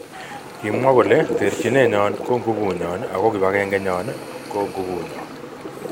Kimwa kole terjinet nyon ko gubunyon ako kibangenge nyon ko gubuu nyon.